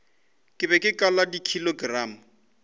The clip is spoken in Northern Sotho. ke be ke kala dikilogramo